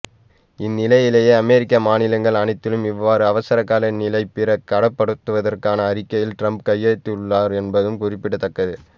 இந்நிலையிலேயே அமெரிக்க மாநிலங்கள் அனைத்திலும் இவ்வாறு அவசரகால நிலை பிரகடப்படுத்துவதற்கான அறிக்கையில் ட்ரம்ப் கையெழுத்திட்டுள்ளார் என்பதும் குறிப்பிடத்தக்கது